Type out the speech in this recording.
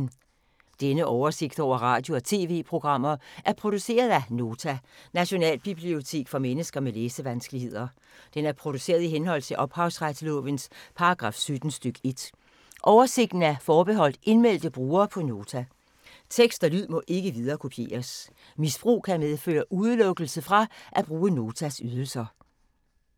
Denne oversigt over radio og TV-programmer er produceret af Nota, Nationalbibliotek for mennesker med læsevanskeligheder. Den er produceret i henhold til ophavsretslovens paragraf 17 stk. 1. Oversigten er forbeholdt indmeldte brugere på Nota. Tekst og lyd må ikke viderekopieres. Misbrug kan medføre udelukkelse fra at bruge Notas ydelser.